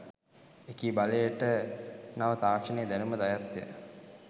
එකී බලයට නව තාක්‍ෂණයේ දැනුමද අයත්ය.